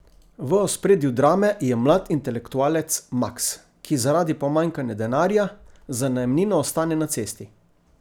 V ospredju drame je mlad intelektualec Maks, ki zaradi pomanjkanja denarja za najemnino ostane na cesti.